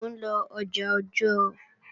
Mò ń lọ ọjà Ọ̀jọ́ọ̀